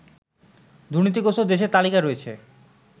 দুর্নীতিগ্রস্ত দেশের তালিকায় রয়েছে